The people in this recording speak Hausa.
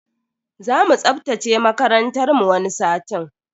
Zamu tsaftace makarantar mu wani satin.